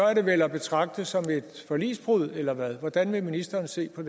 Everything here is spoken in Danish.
er det vel at betragte som et forligsbrud eller hvad hvordan vil ministeren se på